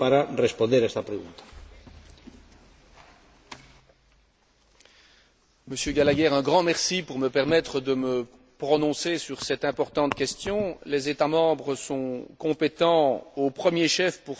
Monsieur Gallagher, un grand merci de me permettre de me prononcer sur cette importante question. Les États membres sont compétents, au premier plan, pour ce qui est de la définition et de la mise en œuvre de leurs politiques nationales en matière d'emploi.